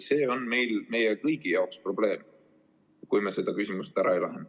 See on meie kõigi jaoks probleem, kui me seda küsimust ära ei lahenda.